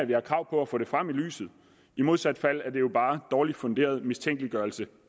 vi har krav på at få det frem i lyset i modsat fald er det jo bare dårligt funderet mistænkeliggørelse